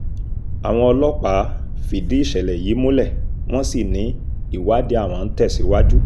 àwọn ọlọ́pàá fìdí ìṣẹ̀lẹ̀ yìí múlẹ̀ wọ́n sì ní ìwádìí àwọn ń tẹ̀síwájú